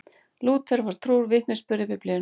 Lúther var trúr vitnisburði Biblíunnar.